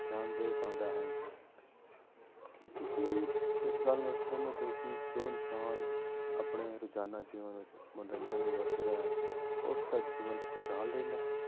ਧਿਆਨ ਦੇ ਪਾਉਂਦਾ ਹੈ ਕੀ ਤੁਸੀਂ ਇਸ ਗੱਲ ਨਾਲ ਸਹਿਮਤ ਹੋ ਕਿ ਜੋ ਇਨਸਾਨ ਆਪਣੇ ਰੋਜ਼ਾਨਾ ਜੀਵਨ ਵਿੱਚ ਮਨੋਰੰਜਨ ਵਰਤਦਾ ਹੈ, ਉਸਦਾ ਜੀਵਨ ਖ਼ੁਸ਼ਹਾਲ ਰਹਿੰਦਾ ਹੈ।